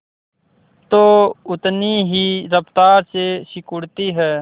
तो उतनी ही रफ्तार से सिकुड़ती है